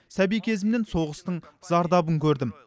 сәби кезімнен соғыстың зардабын көрдім